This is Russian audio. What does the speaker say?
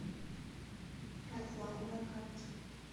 профлайн на карте